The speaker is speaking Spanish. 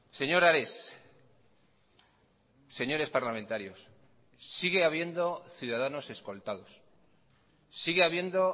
señor ares señores parlamentarios sigue habiendo ciudadanos escoltados sigue habiendo